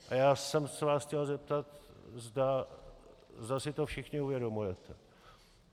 A já jsem se vás chtěl zeptat, zda si to všichni uvědomujete.